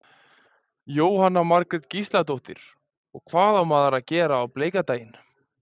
Jóhanna Margrét Gísladóttir: Og hvað á maður að gera á bleika daginn?